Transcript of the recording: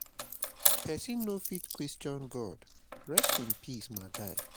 Pesin no fit question God, rest in peace my guy.